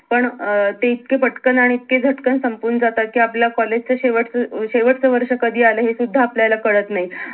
पण अं ते इतके पटकन आणि इतके झटकन संपून जातात कि आपल्या कॉलेज च शेवटचं अं शेवटचं वर्ष कधी आलं हे सुद्धा आपल्याला काळात नाही